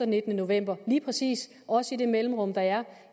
nittende november lige præcis også i det mellemrum der er